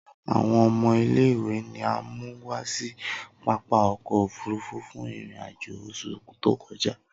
Awọn ọmọ ile-iwe ni a mu wa si papa ọkọ ofurufu fun irin-ajo oṣu to kọja.